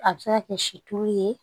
A bɛ se ka kɛ situlu ye